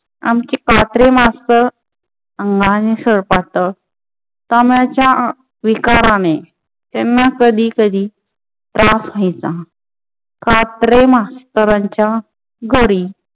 आमचे कात्रे मास्टर अंगाने सळपातळ दम्याच्या विकाराने त्यांना कधी कधी त्रास व्हायचा कात्रे मास्टर च्या घरी